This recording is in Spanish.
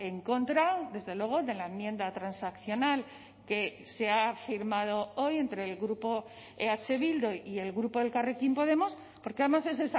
en contra desde luego de la enmienda transaccional que se ha firmado hoy entre el grupo eh bildu y el grupo elkarrekin podemos porque además es